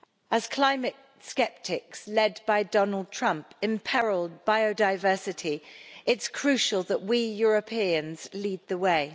As climate sceptics, led by Donald Trump, imperil biodiversity it is crucial that we Europeans lead the way.